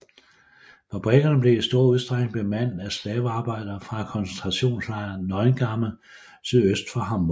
Fabrikkerne blev i stor udstrækning bemandet af slavearbejdere fra koncentrationslejren Neuengamme sydøst for Hamburg